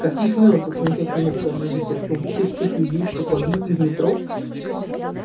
каких мёртвых никак не мог сообразить артём всех тех людей что погибли в метро